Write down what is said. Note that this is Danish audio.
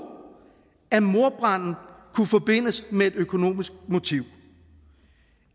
at mordbranden kunne forbindes med et økonomisk motiv